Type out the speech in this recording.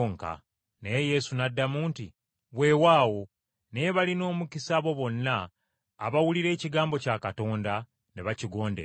Naye Yesu n’addamu nti, “Weewaawo, naye balina omukisa abo bonna abawulira ekigambo kya Katonda ne bakigondera.”